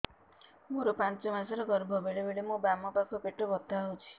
ମୋର ପାଞ୍ଚ ମାସ ର ଗର୍ଭ ବେଳେ ବେଳେ ମୋ ବାମ ପାଖ ପେଟ ବଥା ହଉଛି